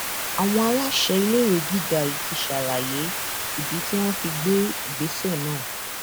àwọn aláṣẹ iléèwé gíga yìí ti ṣàlàyé ìdí tí wọn fi gbé ìgbésẹ náà